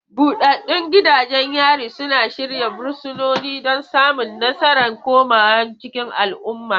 Buɗaɗɗun gidajen yari suna shirya fursunoni don samun nasarar komawa cikin al'umma.